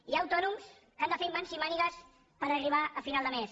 hi ha autònoms que han de fer mans i mànigues per arribar a final de mes